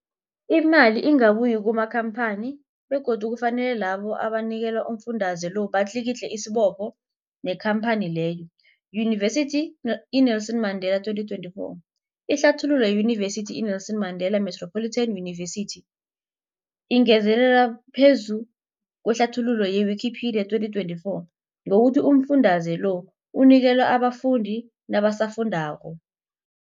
Imali ingabuyi kumakhamphani begodu kufanele labo abanikelwa umfundaze lo batlikitliki isibopho neenkhamphani leyo, Yunivesity i-Nelson Mandela 2024. Ihlathululo yeYunivesithi i-Nelson Mandela Metropolitan University, ingezelele phezu kwehlathululo ye-Wikipedia, 2024, ngokuthi umfundaze lo unikelwa abafundi nabosofundwakgho.